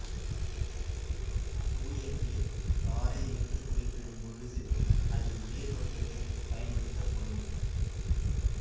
தூய நீர் தாரை என்று குறிப்பிடும் பொழுது அதில் நீர் மட்டுமே பயன்படுத்தப்படும்